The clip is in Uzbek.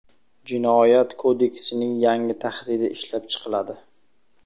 Jinoyat kodeksining yangi tahriri ishlab chiqiladi.